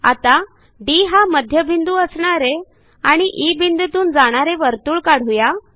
आता डी हा मध्यबिंदू असणारे आणि ई बिंदूतून जाणारे वर्तुळ काढू या